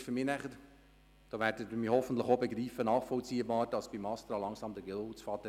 Für mich ist es nachvollziehbar, wenn dem Astra langsam der Geduldsfaden reisst.